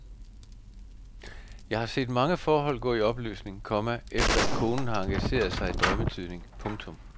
Jeg har set mange forhold gå i opløsning, komma efter at konen har engageret sig i drømmetydning. punktum